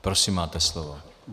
Prosím, máte slovo.